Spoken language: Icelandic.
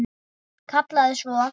Kallaði svo